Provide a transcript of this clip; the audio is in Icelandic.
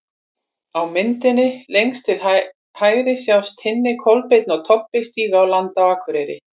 Á myndinni lengst til hægri sjást Tinni, Kolbeinn og Tobbi stíga á land á Akureyri.